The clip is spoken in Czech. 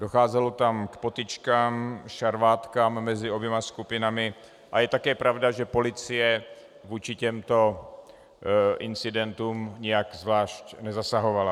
Docházelo tam k potyčkám, šarvátkám mezi oběma skupinami a je také pravda, že policie vůči těmto incidentům nijak zvlášť nezasahovala.